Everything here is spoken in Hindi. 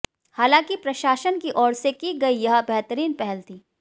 हालांकि प्रशासन की ओर से की गई यह बेहतरीन पहल थी